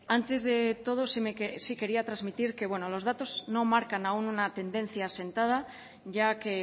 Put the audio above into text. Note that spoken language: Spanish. antes de todo sí quería transmitir que los datos no marcan aún una tendencia asentada ya que